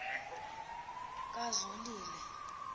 kazolile